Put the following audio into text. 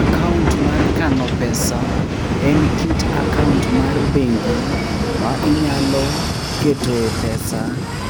Akaont mar kano pesa en kit akaont mar bengi ma inyalo ketoe pesa